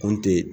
Kun te